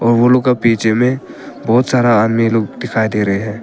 ओ लोग का पीछे में बहुत सारा आदमी लोग दिखाई दे रहे हैं।